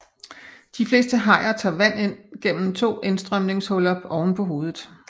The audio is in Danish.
De fleste hajer tager vand ind gennem to indstrømningshuller ovenpå hovedet